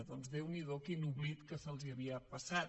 doncs déu n’hi do quin oblit que se’ls havia passat